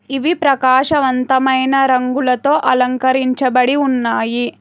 ఇవి ప్రకాశవంతమైన రంగులతో అలంకరించబడి ఉన్నాయి.